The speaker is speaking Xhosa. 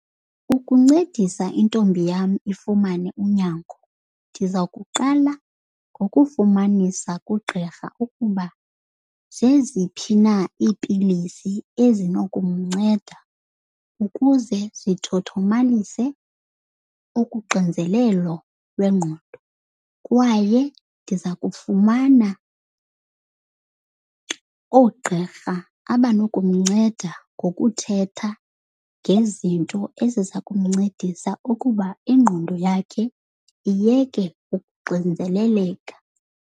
Ukuncedisa intombi yam ifumane unyango, ndiza kuqala ngokufumanisa kugqirha ukuba zeziphi na iipilisi ezinokumnceda ukuze zithothomalise ukuxinzelelo lwengqondo. Kwaye ndiza kufumana oogqirha abanokumnceda ngokuthetha ngezinto eziza kumncedisa ukuba ingqondo yakhe iyeke ukuxinzeleleka.